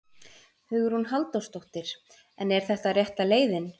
Hugrún Halldórsdóttir: En er þetta rétta leiðin?